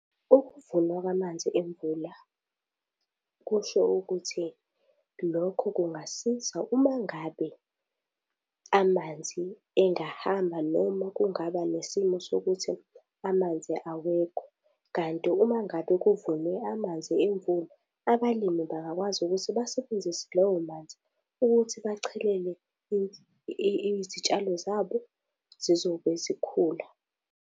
Ukuvulwa kwamanzi emvula kusho ukuthi lokho kungasiza uma ngabe amanzi engahamba noma kungaba nesimo sokuthi amanzi awekho kanti uma ngabe kuvulwe amanzi emvula, abalimi bengakwazi ukuthi basebenzise lawo manzi ukuthi bachelele izitshalo zabo zizobe zikhula.